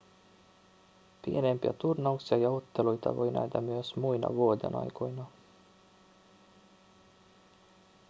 pienempiä turnauksia ja otteluita voi nähdä myös muina vuodenaikoina